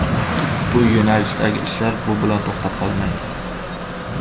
Ushbu yo‘nalishdagi ishlar bu bilan to‘xtab qolmaydi.